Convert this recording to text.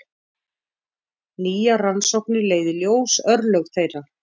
Nýjar rannsóknir leiða í ljós örlög þeirra.